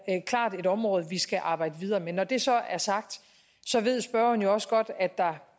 klart et område vi skal arbejde videre med når det så er sagt ved spørgeren jo også godt at der